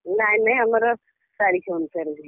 ନାଇଁ ନାଇଁ ଆମର ତାରିଖ ଅନୁସାରେ ହୁଏ।